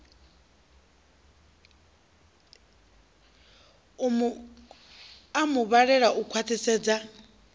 a mu vhalele u khwaṱhisedza